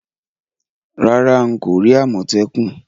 Rárá, n ko ri àmòtẹ́kùn